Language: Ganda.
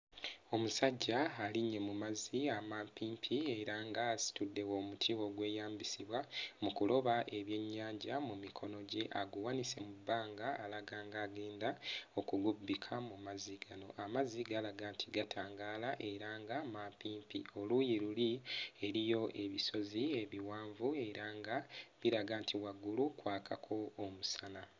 Omusajja alinnye mu mazzi amampimpi era ng'asitudde omuti ogweyambisibwa mu kuloba ebyennyanja mu mikono gye aguwanise mu bbanga alaga ng'agenda okugubbikamu mu mazzi gano. Amazzi galaga nti gatangaala era nga mampimpi. Oluuyi luli eriyo ebisozi ebiwanvu era nga biraga nti waggulu kwakako omusana.